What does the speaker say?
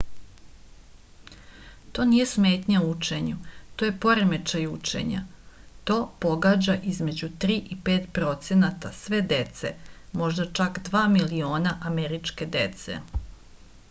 to nije smetnja u učenju to je poremećaj učenja to pogađa između 3 i 5 procenata sve dece možda čak 2 miliona američke dece